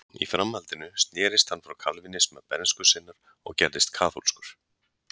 í framhaldinu snerist hann frá kalvínisma bernsku sinnar og gerðist kaþólskur